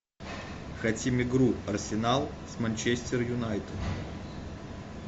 хотим игру арсенал с манчестер юнайтед